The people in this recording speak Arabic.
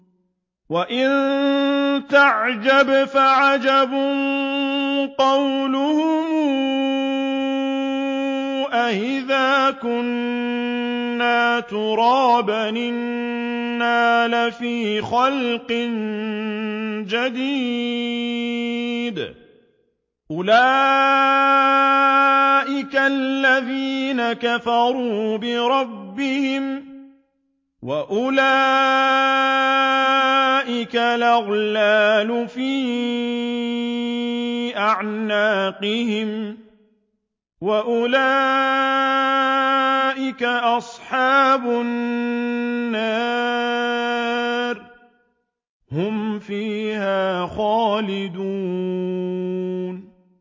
۞ وَإِن تَعْجَبْ فَعَجَبٌ قَوْلُهُمْ أَإِذَا كُنَّا تُرَابًا أَإِنَّا لَفِي خَلْقٍ جَدِيدٍ ۗ أُولَٰئِكَ الَّذِينَ كَفَرُوا بِرَبِّهِمْ ۖ وَأُولَٰئِكَ الْأَغْلَالُ فِي أَعْنَاقِهِمْ ۖ وَأُولَٰئِكَ أَصْحَابُ النَّارِ ۖ هُمْ فِيهَا خَالِدُونَ